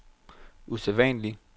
usædvanlig